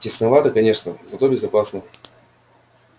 тесновато конечно зато безопасно